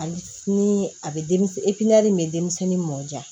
Hali ni a bɛ denmisɛn bɛ denmisɛnnin mɔ ja